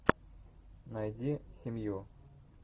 найди семью